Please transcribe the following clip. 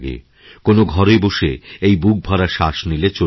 কোনও ঘরেবসে এই বুকভরা শ্বাস নিলে চলবে না